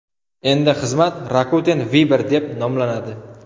Endi xizmat Rakuten Viber deb nomlanadi.